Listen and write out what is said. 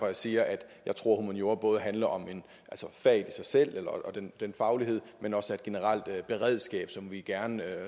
jeg siger at jeg tror at humaniora både handler om faget i sig selv og den faglighed men også er et generelt beredskab som vi gerne